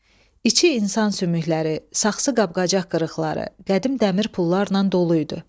İçi insan sümükləri, saxsı qab-qacaq qırıqları, qədim dəmir pullarnan dolu idi.